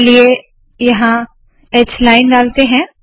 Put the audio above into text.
चलिए यहाँ h line ह लाइनडालते है